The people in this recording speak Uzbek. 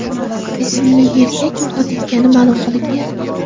ismli erkak vafot etgani ma’lum qilingan.